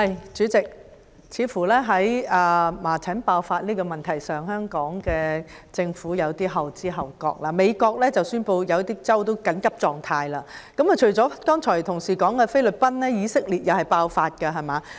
主席，在麻疹爆發的問題上，似乎香港政府有些後知後覺，美國已宣布部分州份進入緊急狀態，除了同事剛才提及的菲律賓外，以色列同樣爆發麻疹疫症，對嗎？